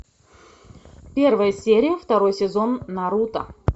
первая серия второй сезон наруто